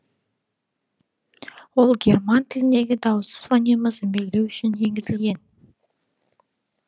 ол герман тіліндегі дауыссыз фонемасын белгілеу үшін енгізілген